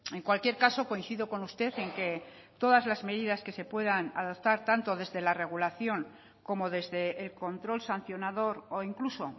en cualquier caso coincido con usted en que todas las medidas que se puedan adaptar tanto desde la regulación como desde el control sancionador o incluso